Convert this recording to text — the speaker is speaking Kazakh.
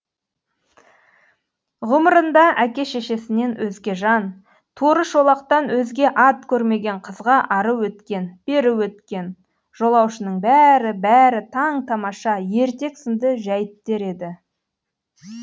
ғұмырында әке шешесінен өзге жан торы шолақтан өзге ат көрмеген қызға ары өткен бері өткен жолаушының бәрі бәрі таң тамаша ертек сынды жәйттер еді